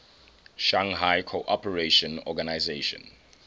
shanghai cooperation organization